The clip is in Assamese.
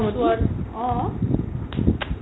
অ